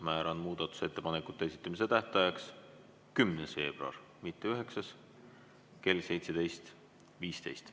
Määran muudatusettepanekute esitamise tähtajaks 10. veebruari, mitte 9. veebruari, kell 17.15.